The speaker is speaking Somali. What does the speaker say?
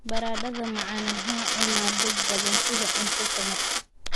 Baradhada macaan waxaa cuna dad badan sida cunto tamar.